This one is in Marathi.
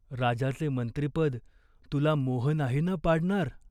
राजाचे मंत्रिपद तुला मोह नाही ना पाडणार?